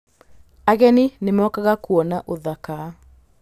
Ageni nĩ mokaga kuona ũthaka.